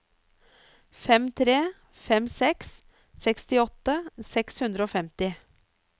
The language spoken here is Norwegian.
fem tre fem seks sekstiåtte seks hundre og femti